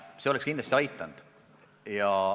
See oleks kindlasti aidanud.